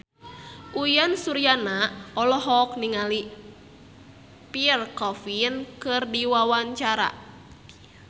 Uyan Suryana olohok ningali Pierre Coffin keur diwawancara